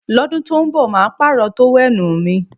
Lọ́dún tó ń bọ̀ màá pààrọ̀ tówẹ́nù mi